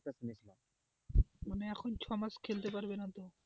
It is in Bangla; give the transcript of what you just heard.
মানে এখন ছয় মাস খেলতে পারবে না তো,